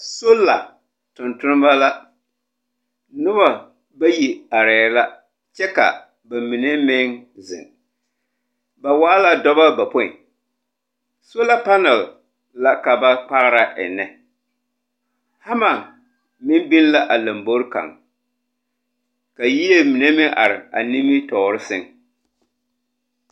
Sola, tontonema la, noba, bayi arɛɛ la, kyɛ ka ba mine meŋ zeŋ. Ba waa la dɔbɔ bapõĩ. Sola panal la, ka ba pagera ennɛ. Hama, meŋ biŋ la a lambori kaŋ. Ka yie mine meŋ are a nimitɔɔre sɛŋ.